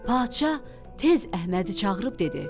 Padşah tez Əhmədi çağırıb dedi: